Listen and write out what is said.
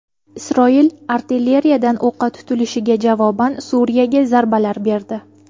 Isroil artilleriyadan o‘qqa tutilishiga javoban Suriyaga zarbalar berdi.